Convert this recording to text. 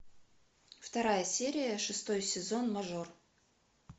вторая серия шестой сезон мажор